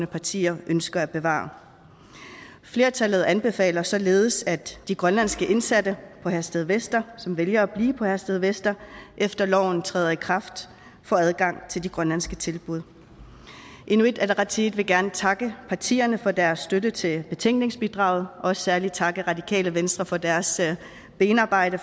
partier ønsker at bevare flertallet anbefaler således at de grønlandske indsatte i herstedvester som vælger at blive i herstedvester efter at loven træder i kraft får adgang til de grønlandske tilbud inuit ataqatigiit vil gerne takke partierne for deres støtte til betænkningsbidraget og særlig takke radikale venstre for deres benarbejde